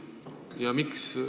Ja miks?